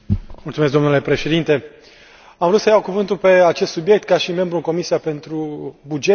Domnule președinte, am vrut să iau cuvântul pe acest subiect ca și membru în Comisia pentru bugete.